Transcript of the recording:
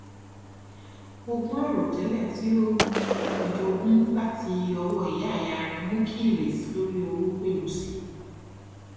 ogún àìròtẹlẹ tí ó um jogún láti ọwọ ìyá ìyá rẹ mú kí ìrètí lorí owó gbèru sì i